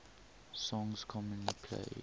songs commonly played